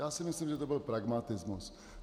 Já si myslím, že to byl pragmatismus.